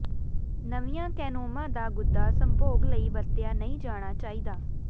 ਨਵੀਆਂ ਕੈਨੋਮਾਂ ਦਾ ਗੁੱਦਾ ਸੰਭੋਗ ਲਈ ਵਰਤਿਆ ਨਹੀਂ ਜਾਣਾ ਚਾਹੀਦਾ